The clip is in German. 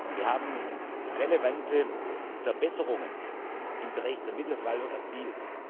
Wir haben relevante Verbesserungen im Bereich der Mittelverwaltung erzielt.